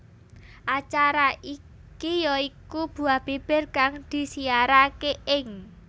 Acara iki ya iku Buah Bibir kang disiyaraké ing